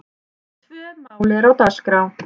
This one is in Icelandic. Tvö mál eru á dagskrá.